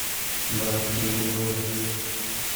братские узы